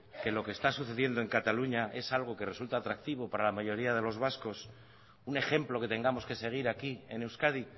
que lo que está sucediendo en cataluña es algo que resulta atractivo para la mayoría de los vascos un ejemplo que tengamos que seguir aquí en euskadi